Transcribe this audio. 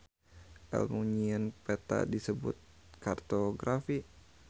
Elmu nyieun peta disebut kartografi.